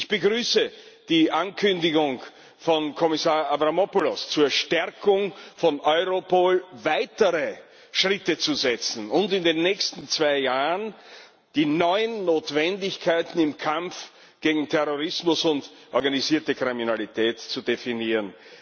Ich begrüße die Ankündigung von Kommissar Avramopoulos zur Stärkung von Europol weitere Schritte einzuleiten, und in den nächsten zwei Jahren die neuen Notwendigkeiten im Kampf gegen Terrorismus und organisierte Kriminalität zu definieren.